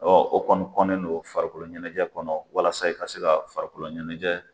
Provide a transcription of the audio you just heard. Ɔ o kɔni kɔnnen don farikolokolo ɲɛnajɛ kɔnɔ , walasa ka se ka farikolo ɲɛnɛjɛ.